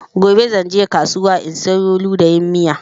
Gobe zan je kasuwa in siyo ludayin miya